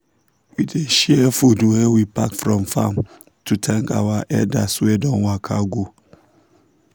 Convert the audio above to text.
we dey share food wey we pack from farm to thank our elders wey don waka go.